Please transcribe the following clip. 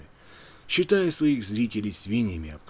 читай своих зрителей свиньи